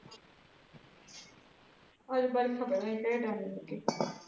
ਅਜ ਬਰਖਾ ਪਤਾ ਨਹੀਂ ਕੇਹੜੇ ਟਾਈਮ ਦੀ ਲੱਗੀ।